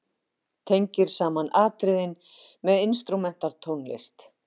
Tengir saman atriðin með instrumental tónlist.